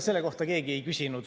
Selle kohta keegi ei küsinud.